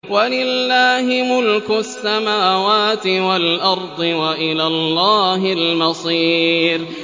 وَلِلَّهِ مُلْكُ السَّمَاوَاتِ وَالْأَرْضِ ۖ وَإِلَى اللَّهِ الْمَصِيرُ